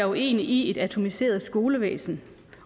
uenig i et atomiseret skolevæsen